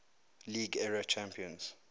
league era champions